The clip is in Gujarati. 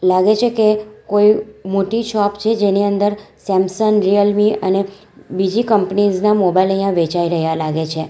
લાગે છે કે કોઈ મોટી શોપ છે જેની અંદર સેમસંન રીયલ મી અને બીજી કંપનીઝ મોબાઈલ અહીંયા વેચાઈ રહ્યા લાગે છે.